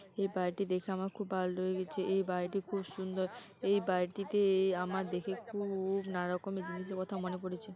এই বাড়িটি দেখে আমার খুব ভালো লেগে গেছে এই বাড়িটি খুব সুন্দর এই বাড়িটিতে এই আমার দেখে খুব নানা রকমেরে জিনিসের কথা মনে পড়েছে।